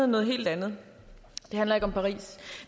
noget helt andet det handler ikke om paris